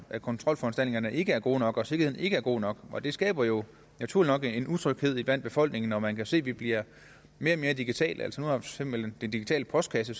at kontrolforanstaltningerne ikke er gode nok og at sikkerheden ikke er god nok og det skaber jo naturligt nok en utryghed i befolkningen hvor man kan se at vi bliver mere og mere digitale nu har eksempel den digitale postkasse